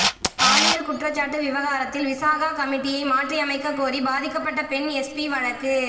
பாலியல் குற்றச்சாட்டு விவகாரத்தில் விசாகா கமிட்டியை மாற்றி அமைக்க கோரி பாதிக்கப்பட்ட பெண் எஸ்பி வழக்கு